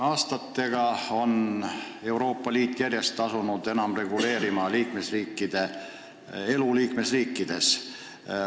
Aastatega on Euroopa Liit järjest enam asunud reguleerima elu liikmesriikides.